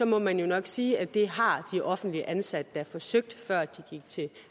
må man jo nok sige at det har de offentligt ansatte da forsøgt før de gik til